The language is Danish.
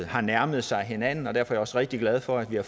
har nærmet sig hinanden og derfor er jeg også rigtig glad for at vi har